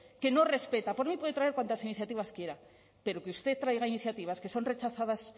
que no respeta por mí puede traer cuantas iniciativas quiera pero que usted traiga iniciativas que son rechazadas